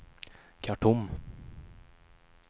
Khartoum